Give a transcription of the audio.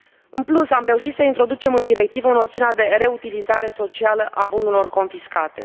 În plus, am reușit să introducem în directivă noțiunea de reutilizare socială a bunurilor confiscate.